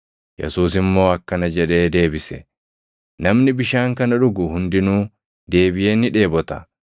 Yesuus immoo akkana jedhee deebise; “Namni bishaan kana dhugu hundinuu deebiʼee ni dheebota;